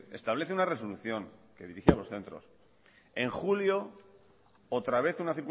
establece una resolución que dirigía a los centros en julio otra vez una